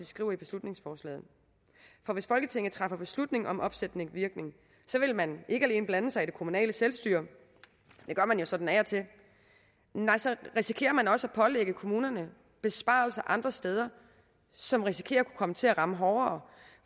skriver i beslutningsforslaget for hvis folketinget træffer beslutning om opsættende virkning vil man ikke alene blande sig i det kommunale selvstyre det gør man jo sådan af og til nej så risikerer man også at pålægge kommunerne besparelser andre steder som risikerer at kunne komme til at ramme hårdere